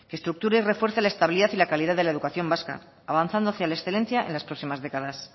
que estructure y refuerce la estabilidad y la calidad de la educación vasca avanzando hacia la excelencia en las próximas décadas